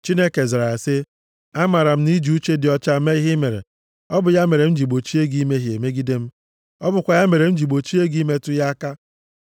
Chineke zara ya sị, “Amaara m na i ji uche dị ọcha mee ihe i mere. Ọ bụ ya mere m ji gbochie gị imehie megide m. Ọ bụkwa ya mere m ji gbochie gị ịmetụ ya aka.